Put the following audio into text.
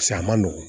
Paseke a ma nɔgɔn